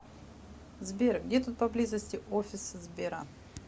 сбер где тут поблизости офис сбера